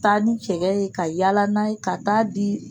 Taa ni cɛ ye ka yaala n'a ye ka taa di